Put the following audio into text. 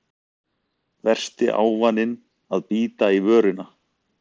Versti ávaninn að bíta í vörina